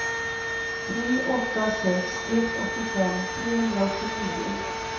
tre åtta sex ett åttiofem trehundraåttionio